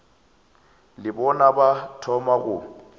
le bona ba thoma go